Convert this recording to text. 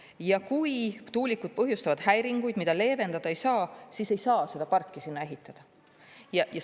Ja kui tuulikud põhjustavad häiringuid, mida leevendada ei saa, siis ei saa seda parki sinna ehitada.